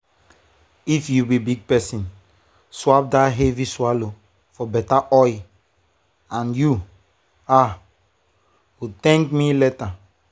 if you be big person swap that heavy swallow for better oil and you um go thank me later.